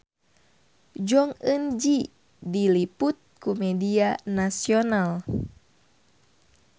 Jong Eun Ji diliput ku media nasional